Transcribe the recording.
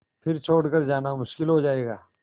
फिर छोड़ कर जाना मुश्किल हो जाएगा